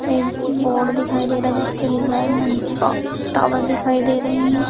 एक बोर्ड दिखाई दे रहा है जिसपे लिखा है मन की बात। टॉवर दिखाई दे रहे हैं।